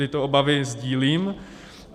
Tyto obavy sdílím.